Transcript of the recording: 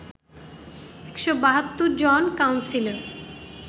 ১৭২ জন কাউন্সিলর